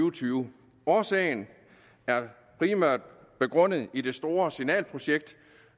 og tyve årsagen er primært begrundet i det store signalprojekt